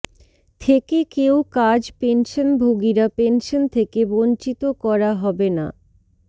থেকে কেউ কাজ পেনশনভোগীরা পেনশন থেকে বঞ্চিত করা হবে না